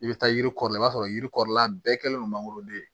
I bɛ taa yiri kɔrɔ la i b'a sɔrɔ yiri kɔrɔla bɛɛ kɛlen don mangoroden